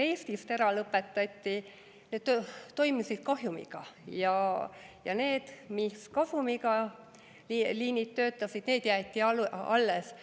Lennud Eestist lõpetati ära sellepärast, et need toimusid kahjumiga, aga need liinid, mis kasumiga töötasid, jäeti alles.